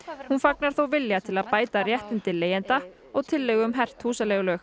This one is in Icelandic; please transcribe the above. hún fagnar þó vilja til að bæta réttindi leigjenda og tilllögu um hert húsaleigulög